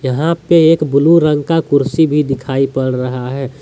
यहां पे एक ब्लू रंग का कुर्सी भी दिखाई पड़ रहा है।